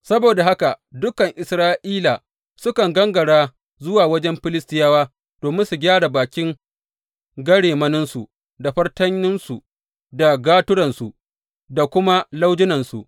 Saboda haka dukan Isra’ila sukan gangara zuwa wajen Filistiyawa domin su gyara bakin garemaninsu, da fartanansu, da gaturansu, da kuma laujunansu.